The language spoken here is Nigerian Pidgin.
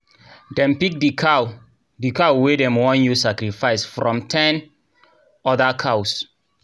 dem pick the cow the cow wey dem wan use sacrifice from ten other cows.